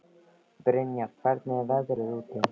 Brynjar, hvernig er veðrið úti?